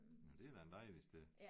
Nåh det er da en dejlig sted